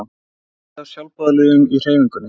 Það er mikið af sjálfboðaliðum í hreyfingunni.